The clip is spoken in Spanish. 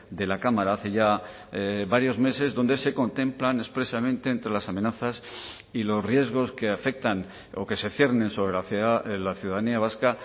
de la cámara hace ya varios meses donde se contemplan expresamente entre las amenazas y los riesgos que afectan o que se ciernen sobre hacia la ciudadanía vasca